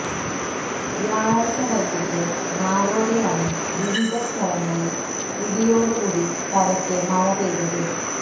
വ്യാഴാഴ്ച വൈകീട്ട് നാലോടെയാണ് വിവിധ സ്ഥലങ്ങളിൽ ഇടിയോടു കൂടി പരക്കെ മഴ പെയ്തത്